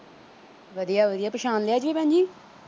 ਵਧੀਆ ਵਧੀਆ ਪਛਾਣ ਲਿਆ ਜੀ l